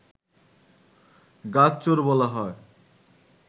গাছ চোর বলা হয়